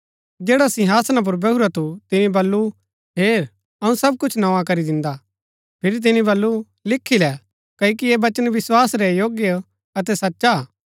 जैडा सिंहासना पुर बैहुरा थू तिनी बल्लू हेर अऊँ सब कुछ नोआ करी दिन्दा फिरी तिनी बल्लू लिखी लै क्ओकि ऐह वचन विस्वास रै योग्य अतै सचा हा